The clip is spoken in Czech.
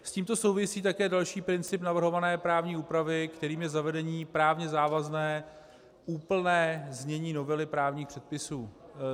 S tímto souvisí také další princip navrhované právní úpravy, kterým je zavedení právně závazné úplné znění novely právních předpisů.